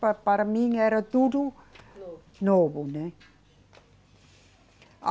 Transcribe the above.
Pa para mim era tudo. Novo. Novo, né? A